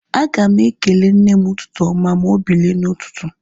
Aga m ekele nne m ụtụtụ oma ma obilie na ututu